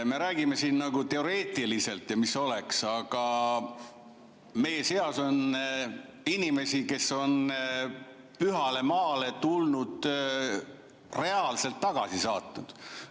Me räägime siin nagu teoreetiliselt, mis oleks, aga meie seas on inimesi, kes on pühale maale tulnuid reaalselt tagasi saatnud.